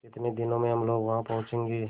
कितने दिनों में हम लोग वहाँ पहुँचेंगे